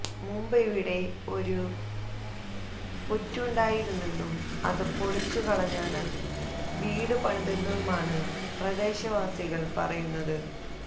മുമ്പിവിടെ ഒരു പുറ്റുണ്ടായിരുന്നെന്നും അത് പൊളിച്ചുകളഞ്ഞാണ് വീട് പണിതതെന്നുമാണ് പ്രദേശവാസികൾ പറയുന്നത്